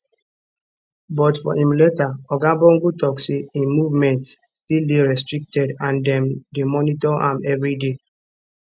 but for im letter oga bongo tok say im movements still dey restricted and dem dey monitor am evriday